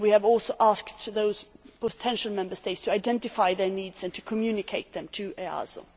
We have also asked those potential Member States to identify their needs and communicate them to